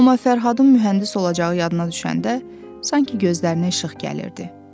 Amma Fərhadın mühəndis olacağı yadına düşəndə, sanki gözlərinə işıq gəlirdi.